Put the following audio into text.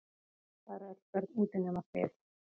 Það eru öll börn úti nema þið.